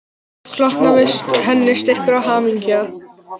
Við það hlotnaðist henni styrkur og hamingja